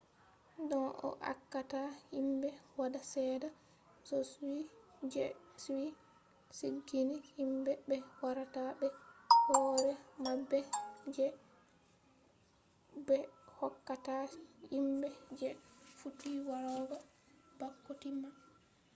don ko accata himbe-wada sedda je be sigini himbe be warata be hore mabbe je be hokkata himbe je fuddi warugo bako timma